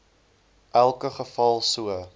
elke geval so